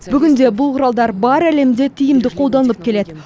бүгінде бұл құралдар бар әлемде тиімді қолданылып келеді